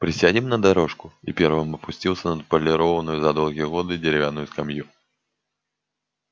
присядем на дорожку и первым опустился на отполированную за долгие годы деревянную скамью